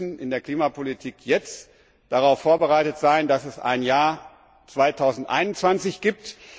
Wir müssen in der Klimapolitik jetzt darauf vorbereitet sein, dass es ein Jahr 2021 gibt.